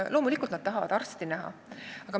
Loomulikult tahetakse näha arsti.